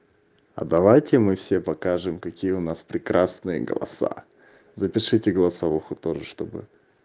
а давайте мы все покажем какие у нас прекрасные голоса запишите голосовуху тоже чтобы